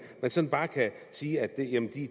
sådan bare kan sige at